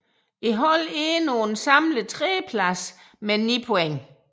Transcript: Holdet endte på en samlet tredjeplads med 9 point